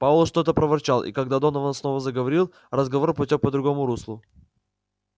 пауэлл что-то проворчал и когда донован снова заговорил разговор потёк по другому руслу